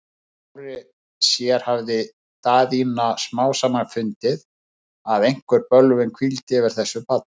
Með sjálfri sér hafði Daðína smám saman fundið, að einhver bölvun hvíldi yfir þessu barni.